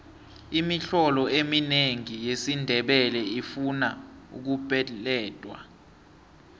imitlolo eminengi yesindebele ifuna ukupeledwa